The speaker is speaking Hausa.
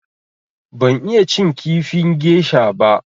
Ban iya cin kifin gesha ba.